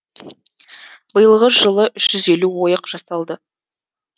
биылғы жылы үш жүз елу ойық жасалды